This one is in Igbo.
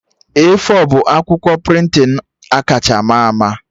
A4 bụ akwụkwọ prịntịn akacha ma ama